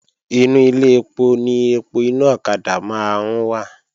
Inú Ilé ẹpo ni ẹpo inú ọ̀kadà máa ń wà